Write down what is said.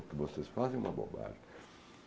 O que vocês fazem é uma bobagem.